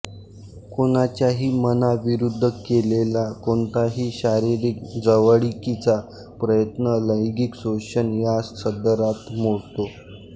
कोणाच्याही मनाविरुद्ध केलेला कोणताही शारीरिक जवळिकीचा प्रयत्न लैंगिक शोषण या सदरात मोडतो